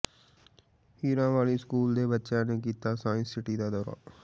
ਹੀਰਾਂ Wali school ਦੇ ਬੱਚਿਆਂ ਨੇ ਕੀਤਾ ਸਾਇੰਸ ਸਿਟੀ ਦਾ ਦੌਰਾ